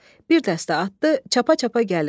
Bir dəstə atlı çapa-çapa gəlir.